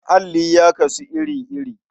Alli ya kasu iri-iri.